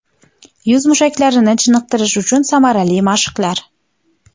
Yuz mushaklarini chiniqtirish uchun samarali mashqlar.